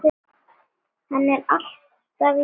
Hann er alltaf í burtu.